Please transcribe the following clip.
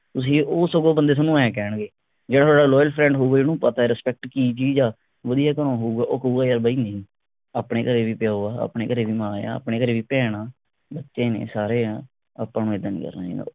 ਤੁਸੀ ਉਹ ਸਗੋੰ ਬੰਦੇ ਸਾਨੂੰ ਐ ਕਹਿਣਗੇ ਜਿਹੜੇ ਤੁਹਾਡਾ loyal friend ਹੋਉਗਾ ਜਿਹਨੂੰ ਪਤਾ ਐ respect ਕੀ ਚੀਜ ਆ ਵਧੀਆ ਤੁਹਾਨੂੰ ਹੋਊਗਾ ਉਹ ਕਹੂਗਾ ਯਾਰ ਬਈ ਨਹੀਂ ਆਪਣੇ ਘਰੇ ਵੀ ਪਿਉ ਆ ਆਪਣੇ ਘਰੇ ਵੀ ਮਾਂ ਆ ਆਪਣੇ ਘਰੇ ਵੀ ਭੈਣ ਆ ਬੱਚੇ ਨੇ ਸਾਰੇ ਆ ਆਪਾਂ ਨੂੰ ਇੱਦਾਂ ਨਹੀਂ ਕਹਿਣਾ ਚਾਹੀਦਾ